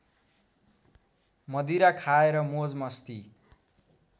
मदिरा खाएर मोजमस्ती